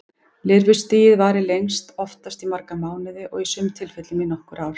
Lirfustigið varir lengst, oftast í marga mánuði og í sumum tilfellum í nokkur ár.